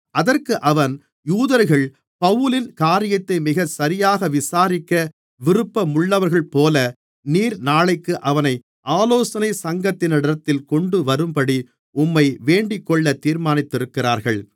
அதற்கு அவன் யூதர்கள் பவுலின் காரியத்தை மிகச் சரியாக விசாரிக்க விருப்பமுள்ளவர்கள்போல நீர் நாளைக்கு அவனை ஆலோசனைச் சங்கத்தினரிடத்தில் கொண்டுவரும்படி உம்மை வேண்டிக்கொள்ள தீர்மானித்திருக்கிறார்கள்